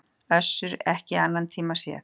Össur ekki í annan tíma séð.